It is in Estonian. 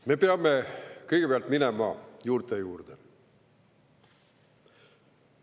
Me peame kõigepealt minema juurte juurde.